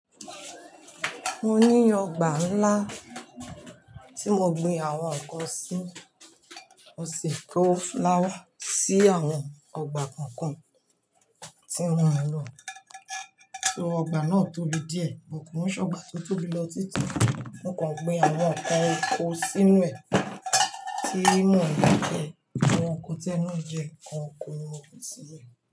Mo ní ọgbà ńlá tí mo gbin àwọn kan sí, mo sì kó fúláwà sí àwọn ọgbà kọ̀ọ̀kan tí wọ́n o lò. So ọgbà náà tóbi díẹ̀, mo kò sé ọgbà tó tóbi lọ títí mo kàn gbin àwọn ọkọ̀ kó sínú ẹ̀, tí mò mọ̀ pé àwọn ọkọ̀ tẹnu jẹ, àwọn ọkọ̀ ni mo fi síbẹ̀